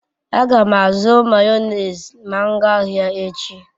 A gam azu mayonezi ma m gaa ahia echi